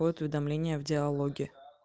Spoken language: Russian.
вот уведомление в диалоге